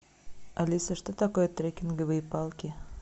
алиса что такое треккинговые палки